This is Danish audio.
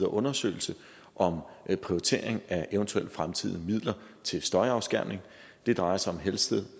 undersøgelse om prioritering af eventuelle fremtidige midler til støjafskærmning det drejer sig om helsted